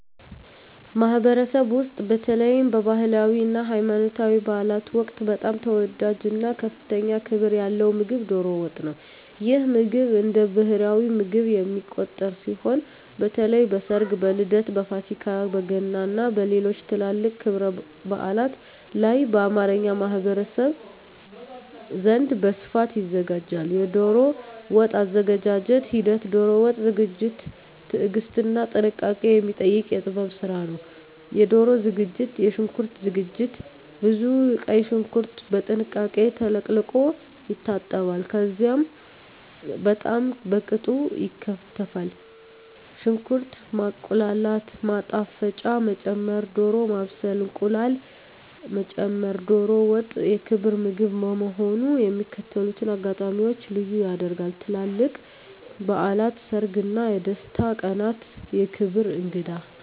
ማኅበረሰብ ውስጥ፣ በተለይም በባህላዊ እና ሃይማኖታዊ በዓላት ወቅት በጣም ተወዳጅ እና ከፍተኛ ክብር ያለው ምግብ ዶሮ ወጥ ነው። ይህ ምግብ እንደ ብሔራዊ ምግብ የሚቆጠር ሲሆን፣ በተለይ በሰርግ፣ በልደት፣ በፋሲካ፣ በገና እና በሌሎችም ትላልቅ ክብረ በዓላት ላይ በአማርኛ ማኅበረሰብ ዘንድ በስፋት ይዘጋጃል። የዶሮ ወጥ አዘገጃጀት ሂደት ዶሮ ወጥ ዝግጅት ትዕግስትና ጥንቃቄ የሚጠይቅ የጥበብ ስራ ነው -የዶሮ ዝግጅት -የሽንኩርት ዝግጅት ብዙ ቀይ ሽንኩርት በጥንቃቄ ተለቅልቆ ይታጠባል፣ ከዚያም በጣም በቅጡ ይከተፋል። -ሽንኩርት ማቁላላት -ማጣፈጫ መጨመር -ዶሮ ማብሰል -እንቁላል መጨመር ዶሮ ወጥ የክብር ምግብ በመሆኑ የሚከተሉትን አጋጣሚዎች ልዩ ያደርጋል -ትላልቅ በዓላት -ሰርግ እና የደስታ ቀናት -የክብር እንግዳ